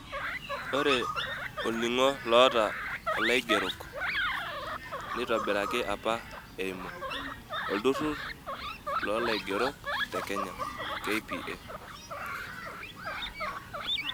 Ore olning'o loota olaigerok, neitobiraki apa eimu, Olturrur loolaigerok te Kenya (KPA).